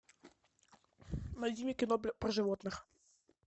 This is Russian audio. найди мне кино про животных